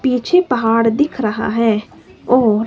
पीछे पहाड़ दिख रहा है और --